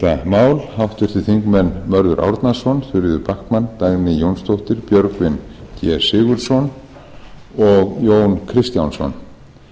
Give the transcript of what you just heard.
mál háttvirts þingmanns mörður árnason þuríður backman dagný jónsdóttir björgvin g sigurðsson og jón kristjánsson þetta mál hefur